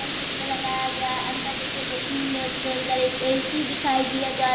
और छत पे लगाया गया है अंदर ए.टी.एम. मशीन है उसके अंदर एक ए.सी. दिखाई दिया जा रहा --